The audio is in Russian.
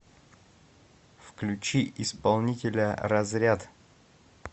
включи исполнителя разряд